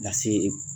Lase